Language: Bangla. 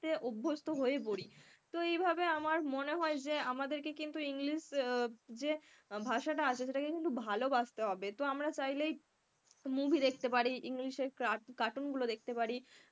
অভ্যস্ত হয়ে পড়ি তো এই ভাবে আমার মনে হয় যে আমাদেরকে কিন্তু english যে ভাষাটা আছে সেটাকে কিন্তু ভালোবাসতে হবে। তো আমরা চাইলেই movie দেখতে পারি, englishcartoon গুলো দেখতে পারি,